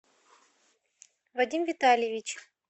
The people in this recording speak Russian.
вадим витальевич